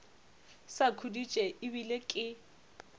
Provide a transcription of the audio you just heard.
sa khuditše e bile ke